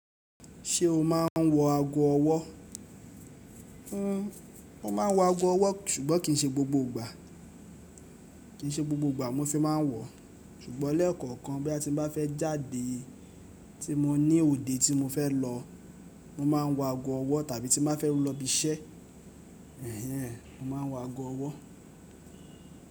Ṣé o máa ń wọ ago ọwọ́? Mo ma wọ ago ọwọ́ ṣùgbọ́n kì í ṣe gbogbo ìgbà. Kì í ṣe gbogbo ìgbà mo fi máa ń wọ. Ṣùgbọ́n lẹ́ẹ̀kọ̀kan bí a ti bá fẹ́ jáde tí mo ní òde tí mo fẹ́ lọ, mo máa ń wọ ago ọwọ́ tàbí tí mo bá fẹ́ lọ ibi iṣẹ́, mo máa ń wọ ago ọwọ́.